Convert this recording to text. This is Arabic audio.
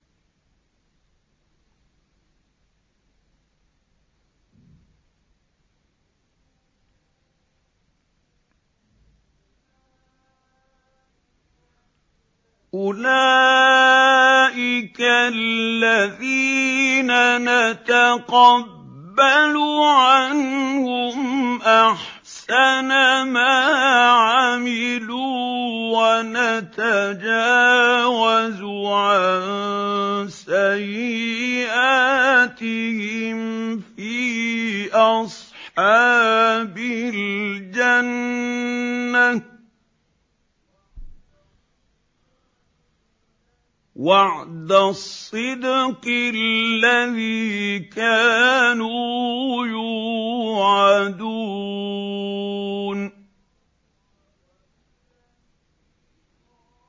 أُولَٰئِكَ الَّذِينَ نَتَقَبَّلُ عَنْهُمْ أَحْسَنَ مَا عَمِلُوا وَنَتَجَاوَزُ عَن سَيِّئَاتِهِمْ فِي أَصْحَابِ الْجَنَّةِ ۖ وَعْدَ الصِّدْقِ الَّذِي كَانُوا يُوعَدُونَ